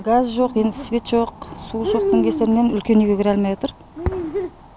газ жоқ енді свет жоқ су жоқтың кесірінен үлкен үйге кіре алмай отыр